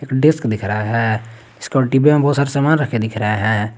Desk दिख रहा है डिब्बे में बहुत सारे सामान रखे दिख रहे है।